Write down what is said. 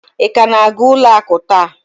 Ị ka na-aga ụlọ akụ taa?